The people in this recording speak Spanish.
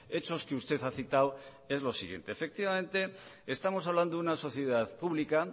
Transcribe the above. hechos que usted ha citadoes lo siguiente efectivamente estamos hablando de una sociedad pública